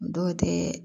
Dɔw tɛ